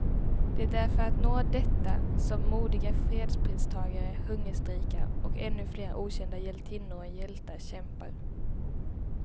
Det är för att nå detta som modiga fredspristagare hungerstrejkar, och ännu flera okända hjältinnor och hjältar kämpar.